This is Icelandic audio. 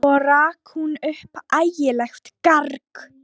Svo rak hún upp ægilegt garg.